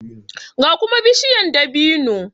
ga kuma bishiya dabino